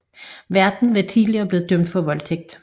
Værten var tidligere blevet dømt for voldtægt